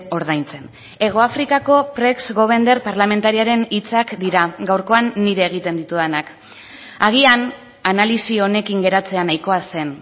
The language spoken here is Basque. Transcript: ordaintzen hegoafrikako pregs govender parlamentariaren hitzak dira gaurkoan nire egiten ditudanak agian analisi honekin geratzea nahikoa zen